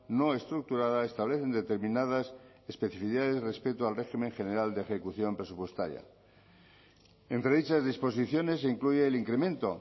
no estructurada establecen determinadas especificidades respecto al régimen general de ejecución presupuestaria entre dichas disposiciones se incluye el incremento